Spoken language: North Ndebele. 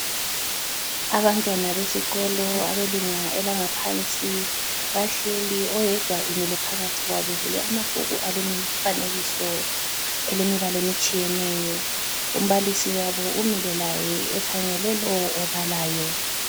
Abantwana besikolo abelunga elangaphansi bahleli oyedwa emile phakathi kwabo bevule amabhuku alemifanekiso elemibala etshiyeneyo. Umbalisi wabo umile laye ekhangele lowo obalayo.